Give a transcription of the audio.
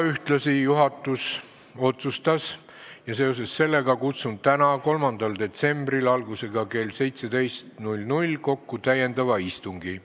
Ühtlasi tegi juhatus otsuse, millega seoses kutsun täna, 3. detsembril algusega kell 17 kokku täiendava istungi.